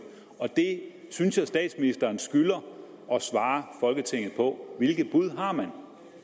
det synes jeg statsministeren skylder at svare folketinget på hvilke bud har man